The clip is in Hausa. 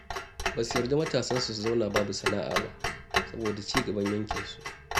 Ba su yarda matasansu sun zauna babu sana'a ba saboda cigaban yankinsu.